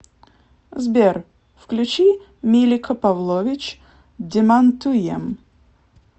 сбер включи милика павлович демантуем